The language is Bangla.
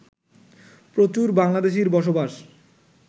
প্রচুর বাংলাদেশির বসবাস